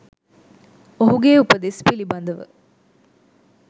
ඔහුගේ උපදෙස් පිළිබඳව